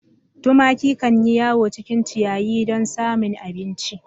Tumaki kan yi yawo cikin ciyayi dun samun abinci.